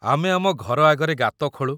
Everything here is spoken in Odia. ଆମେ ଆମ ଘର ଆଗରେ ଗାତ ଖୋଳୁ ।